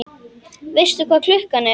Veistu hvað klukkan er?